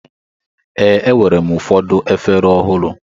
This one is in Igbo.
Ee, enwere m ụfọdụ efere ọhụrụ.